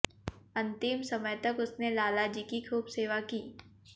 अंतिम समय तक उसने लाला जी की खूब सेवा की